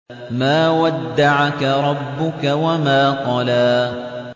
مَا وَدَّعَكَ رَبُّكَ وَمَا قَلَىٰ